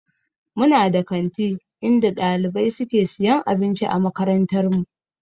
We have a school canteen in our school where students buy food.